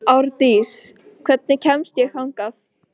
Árdís, hvernig kemst ég þangað?